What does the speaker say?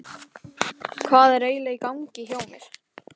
Hvað er eiginlega í gangi hjá mér?